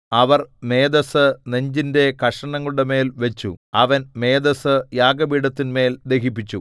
അവർ മേദസ്സു നെഞ്ചിന്റെ കഷണങ്ങളുടെമേൽ വച്ചു അവൻ മേദസ്സു യാഗപീഠത്തിന്മേൽ ദഹിപ്പിച്ചു